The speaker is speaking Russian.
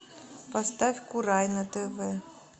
поставь курай на тв